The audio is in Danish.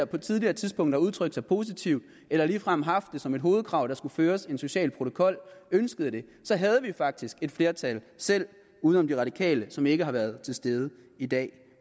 på et tidligere tidspunkt har udtrykt sig positivt eller ligefrem haft det som et hovedkrav at der skulle føres en social protokol ønskede det havde vi faktisk flertal selv uden om de radikale som ikke har været til stede i dag